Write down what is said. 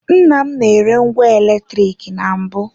Nnam na-ere ngwa eletrik na mbụ.